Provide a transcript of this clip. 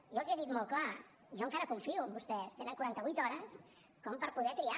jo els hi he dit molt clar jo encara confio en vostès tenen quaranta vuit hores com per poder triar